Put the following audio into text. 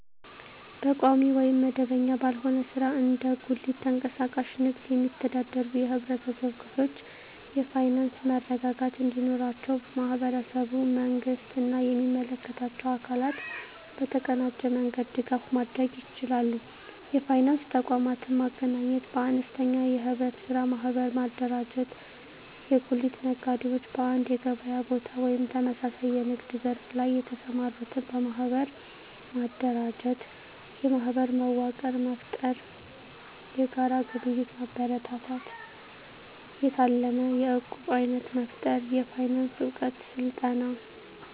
በቋሚ ወይም መደበኛ ባልሆነ ሥራ (እንደ ጉሊት፣ ተንቀሳቃሽ ንግድ) የሚተዳደሩ የህብረተሰብ ክፍሎች የፋይናንስ መረጋጋት እንዲኖራቸው ማህበረሰቡ፣ መንግስት እና የሚመለከታቸው አካላት በተቀናጀ መንገድ ድጋፍ ማድረግ ይችላሉ። የፋይናንስ ተቋማትን ማገናኘት -በአነስተኛ የኅብረት ሥራ ማህበር ማደራጀት የጉሊት ነጋዴዎች በአንድ የገበያ ቦታ ወይም ተመሳሳይ የንግድ ዘርፍ ላይ የተሰማሩትን በማህበር ማደራጀት። -የማህበር መዋቅር መፍጠር -የጋራ ግብይት ማበረታታት -የታለመ የዕቁብ አይነት መፍጠር -የፋይናንስ እውቀት ስልጠና